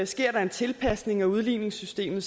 sker der en tilpasning af udligningssystemet